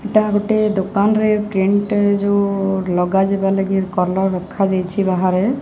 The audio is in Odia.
ଏଟା ଗୋଟେ ଦୋକାନରେ ପ୍ରିଣ୍ଟ୍ ଯୋଉ ଲଗା ଯିବା ଲାଗି କଲର୍ ରଖା ଯାଇଛି ବାହାରେ।